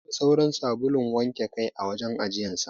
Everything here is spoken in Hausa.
Babu sauran sabulun wanke kai a wajen ajiyan sa.